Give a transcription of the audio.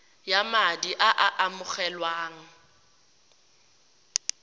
ya madi a a amogelwang